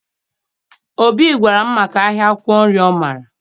Obi gwara m maka ahịa akwụkwọ nri ọ maara